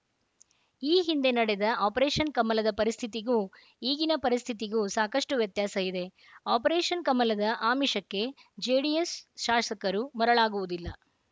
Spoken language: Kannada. ಈ ಹಿಂದೆ ನಡೆದ ಆಪರೇಷನ್‌ ಕಮಲದ ಪರಿಸ್ಥಿತಿಗೂ ಈಗಿನ ಪರಿಸ್ಥಿತಿಗೂ ಸಾಕಷ್ಟುವ್ಯತ್ಯಾಸ ಇದೆ ಆಪರೇಷನ್‌ ಕಮಲದ ಆಮಿಷಕ್ಕೆ ಜೆಡಿಎಸ್‌ ಶಾಸಕರು ಮರಳಾಗುವುದಿಲ್ಲ